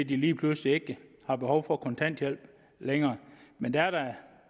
de lige pludselig ikke har behov for kontanthjælp længere men det